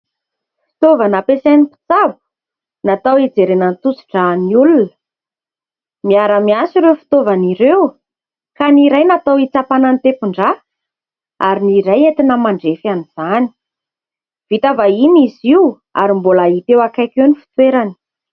Fitaovana ampiasain'ny mpitsabo natao hijerena ny tosi-dra ny olona. Miara-miasa ireo fitaovana ireo ka ny iray natao hitsapana ny tempon-dra ary ny iray entina mandrefy an'izany ; vita vahiny izy io ary mbola hita eo akaiky eo ny fitoerany.